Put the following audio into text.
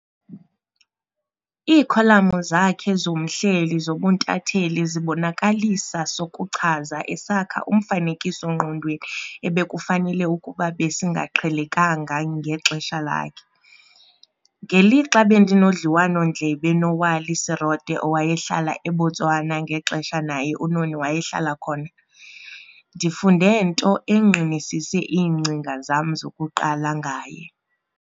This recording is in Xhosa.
Iikholamu zakhe zomhleli zobuntathetheli zibonakalisa sokuchaza esakha umfanekiso-ngqonweni ebekufanele ukuba besingaqhelekanga ngexesha lakhe. Ngelixa bendinodliwano-ndlebe noWally Serote owayehlala eBotswana ngexesha naye uNoni wayehlala khona, ndifunde nto engqinisise iingcinga zam zokuqala ngaye.